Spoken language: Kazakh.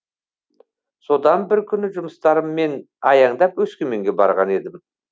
содан бір күні жұмыстарыммен аяңдап өскеменге барған едім